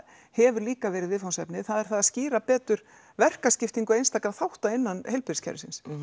hefur líka verið viðfangsefni það er það að skýra betur verkaskiptingu einstakra þátta innan heilbrigðiskerfisins